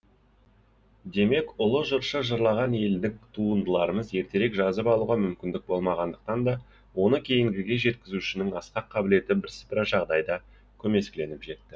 демек ұлы жыршы жырлаған елдік туындыларымыз ертерек жазып алуға мүмкіндік болмағандықтан да оны кейінгіге жеткізушінің асқақ қабілеті бірсыпыра жағдайда көмескіленіп жетті